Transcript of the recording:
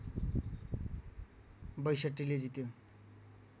६२ ले जित्यो